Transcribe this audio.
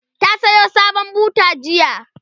ta Sayo sabon buta jiya